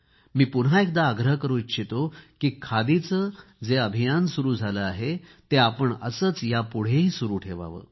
मी पुन्हा एकदा आग्रह करू इच्छितो की खादीचे जे अभियान सुरू झाले आहे ते आपण असेच यापुढेही सुरू ठेवावे